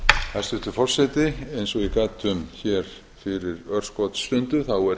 hæstvirtur forseti eins og ég gat um fyrir örskotsstundu þá er